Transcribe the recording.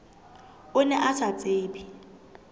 o ne o sa tsebe